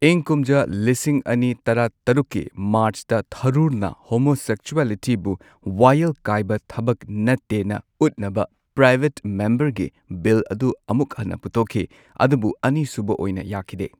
ꯏꯪ ꯀꯨꯝꯖꯥ ꯂꯤꯁꯤꯡ ꯑꯅꯤ ꯇꯔꯥꯇꯔꯨꯛꯀꯤ ꯃꯥꯔ꯭ꯆꯇ ꯊꯥꯔꯨꯔꯅ ꯍꯣꯃꯣꯁꯦꯛꯁꯨꯋꯦꯂꯤꯇꯤꯕꯨ ꯋꯥꯌꯦꯜ ꯀꯥꯏꯕ ꯊꯕꯛ ꯅꯠꯇꯦꯅ ꯎꯠꯅꯕ ꯄ꯭ꯔꯥꯏꯚꯦꯠ ꯃꯦꯝꯕꯔꯒꯤ ꯕꯤꯜ ꯑꯗꯨ ꯑꯃꯨꯛ ꯍꯟꯅ ꯄꯨꯊꯣꯛꯈꯤ ꯑꯗꯨꯕꯨ ꯑꯅꯤ ꯁꯨꯕ ꯑꯣꯏꯅ ꯌꯥꯈꯤꯗꯦ꯫